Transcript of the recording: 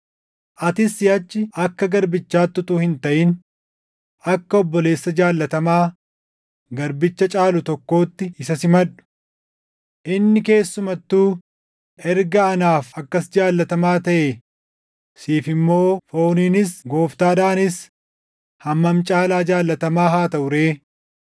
atis siʼachi akka garbichaatti utuu hin taʼin, akka obboleessa jaallatamaa garbicha caalu tokkootti isa simadhu. Inni keessumattuu erga anaaf akkas jaallatamaa taʼe siif immoo fooniinis Gooftaadhaanis hammam caalaa jaallatamaa haa taʼu ree?